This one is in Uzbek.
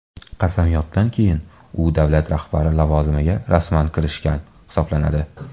Qasamyoddan keyin u davlat rahbari lavozimiga rasman kirishgan hisoblanadi.